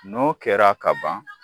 N'o kɛra ka ban